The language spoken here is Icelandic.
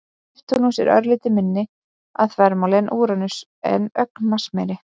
Neptúnus er örlítið minni að þvermáli en Úranus en ögn massameiri.